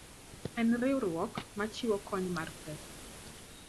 En riwruok ma chiwo kony mar pesa.